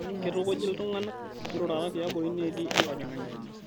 Keitukuji iltung'ana mmeirurata tiabori neeti enkojing'ani